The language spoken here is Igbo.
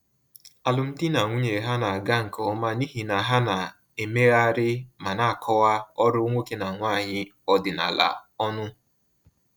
Alụmdi na nwunye ha na-aga nke ọma n’ihi na ha na-emegharị ma na-akọwa ọrụ nwoke na nwanyị ọdịnala ọnụ.